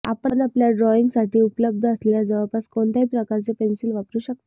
आपण आपल्या ड्रॉईंगसाठी उपलब्ध असलेल्या जवळपास कोणत्याही प्रकारचे पेन्सिल वापरू शकता